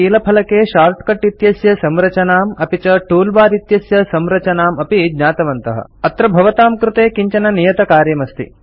वयं कीलफलके शार्ट्कट् इत्यस्य संरचनाम् अपि च टूलबार इत्यस्य संरचनाम् अपि ज्ञातवन्तः अत्र भवतां कृते किञ्चन नियतकार्यमस्ति